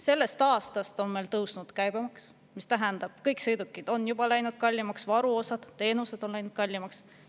Sellest aastast on meil tõusnud käibemaks, mis tähendab, et kõik sõidukid on juba läinud kallimaks, varuosad ja teenused on läinud kallimaks.